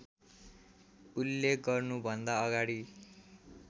उल्लेख गर्नुभन्दा अगाडि